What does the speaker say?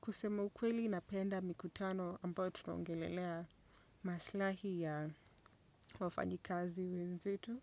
Kusema ukweli napenda mikutano ambayo tunongelelea maslahi ya wafanyi kazi wenzetu.